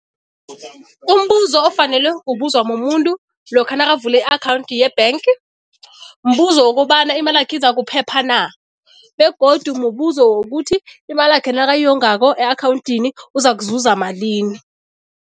Umbuzo ofanele kubuzwa mumuntu lokha nakavula i-akhawundi ye-bank, mbuzo wokobana imalakhe izokuphepha na, begodu mubuzo wokuthi imalakhe nakayongakho e-akhawundini uzakuzuza malini.